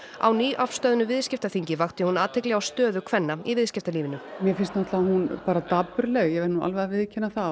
á nýafstöðnu viðskiptaþingi vakti hún athygli á stöðu kvenna í viðskiptalífinu mér finnst hún dapurleg ég verð að viðurkenna það